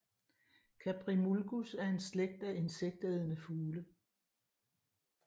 Caprimulgus er en slægt af insektædende fugle